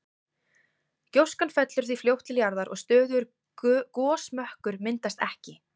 Gjóskan fellur því fljótt til jarðar og stöðugur gosmökkur myndast ekki.